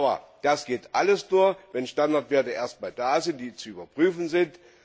Aber das geht alles nur, wenn Standardwerte da sind, die zu überprüfen sind.